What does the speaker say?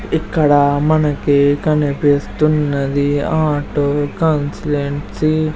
ఇక్కడ మనకి కనిపిస్తున్నది ఆటో కాన్స్లెన్ట్సీ --